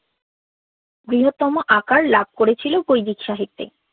বৃহত্তম আকার লাভ করেছিল বৈদিক সাহিত্যে